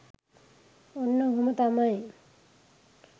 ඔන්න ඔහොම තමයි